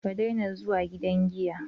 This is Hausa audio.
Ka daina zuwa gidan giya